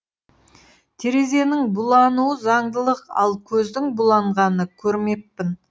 терезенің булануы заңдылық ал көздің буланғанын көрмеппін